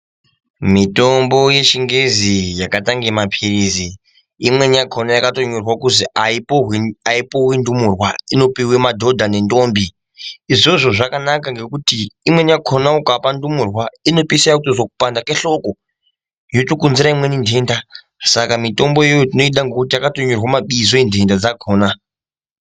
Mitombo yechingezi yakaitange maphirizi imweni yacho yakatonyorwa kuzi aipuwi ndumurwa inopiwe madhodha nendombi izvozvo zvakanaka ngekuti imweni yakona ukapa ndumurwa inopeisora yakutozwa kupanda kwehloko yotokonzera imweni ndenda saka mitombo iyoyo tinoda ngekuti yakatonyorwa mabizo rendenda dzakona.